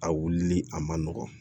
A wulili a man nɔgɔn